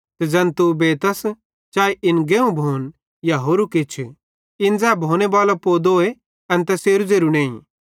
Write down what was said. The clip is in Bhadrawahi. ते ज़ैन तू बेतस चाए इन गेहुं भोन या होरू किछ इन ज़ै भोनेबालो पोदोए एन तैसेरू ज़ेरू नईं